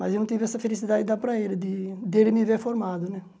Mas eu não tive essa felicidade de dar para ele, de dele me ver formado, né?